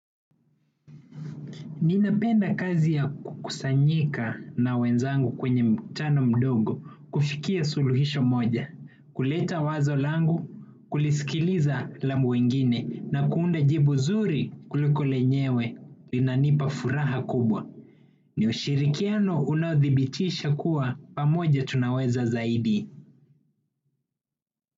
Ninapenda kazi ya kukusanyika na wenzangu kwenye mkutano mdogo, kufikia suluhisho moja, kuleta wazo langu, kulisikiliza la wengine, na kuunda jibu zuri kuliko lenyewe, linanipa furaha kubwa. Ni ushirikiano unaodhibitisha kuwa pamoja tunaweza zaidi.